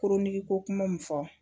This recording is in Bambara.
Koronigiko kuma min fɔ